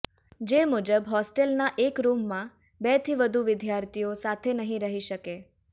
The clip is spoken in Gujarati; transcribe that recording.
જે મુજબ હોસ્ટેલના એક રૂમમાં બેથી વધુ વિદ્યાર્થીઓ સાથે નહિ રહી શકે